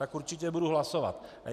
Tak určitě budu hlasovat.